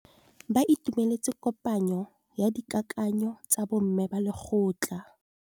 Ba itumeletse kôpanyo ya dikakanyô tsa bo mme ba lekgotla.